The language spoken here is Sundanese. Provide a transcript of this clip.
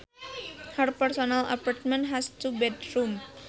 Her personal apartment has two bedrooms